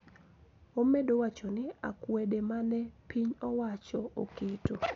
Omedo wacho ni akwede ma ne piny owacho oketo